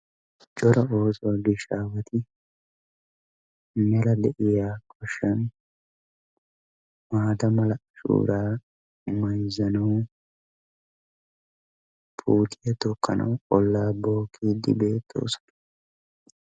Cora oosuwa dosiya aawati mela de'iya goshshan maata mala shoora mayizanawu qoociya tokkanawu ollaa bookkiiddi beettoosona.